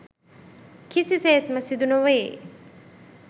කිසිසේත්ම සිදු නොවේ.